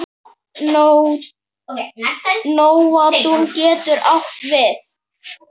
Nóatún getur átt við